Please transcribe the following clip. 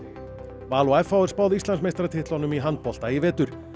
Val og f h er spáð Íslandsmeistaratitlunum í handbolta í vetur